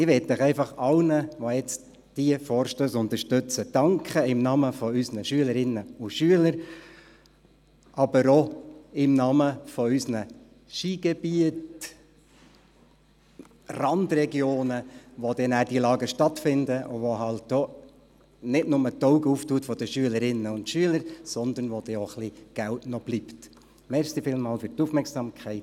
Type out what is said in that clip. Ich möchte allen, die diesen Vorstoss unterstützen, im Namen unserer Schülerinnen und Schüler danken, aber auch im Namen unserer Skigebiete, Randregionen, in welchen diese Lager stattfinden, die nicht nur die Augen unserer Schülerinnen und Schüler öffnen, sondern wo auch noch ein bisschen Geld bleibt.